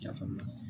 I y'a faamu